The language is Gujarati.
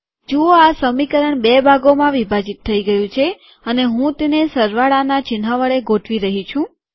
જુઓ આ સમીકરણ બે ભાગોમાં વિભાજીત થઇ ગયું છે અને હું તેને સરવાળાના ચિન્હ વડે ગોઠવી રહ્યો છું